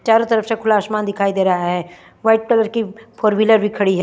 चारो तरफ से खुला आसमान दिखाई दे रहा है वाईट टोर कि फोर विलर भी खड़ी है।